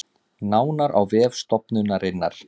Nánar á vef stofnunarinnar